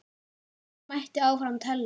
Og þannig mætti áfram telja.